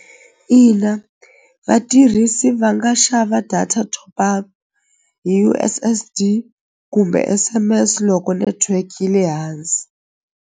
Ina vatirhisi va nga xava data top up hi U_S_S_D kumbe S_M_S loko network yi le hansi.